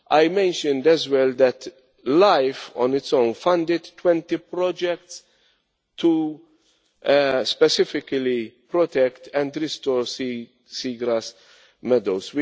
I mentioned as well that LIFE on its own funded 20 projects to specifically protect and restore sea grass meadows.